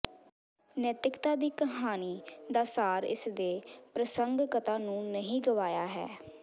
ਨੈਤਿਕਤਾ ਦੀ ਕਹਾਣੀ ਦਾ ਸਾਰ ਇਸਦੇ ਪ੍ਰਸੰਗਕਤਾ ਨੂੰ ਨਹੀਂ ਗਵਾਇਆ ਹੈ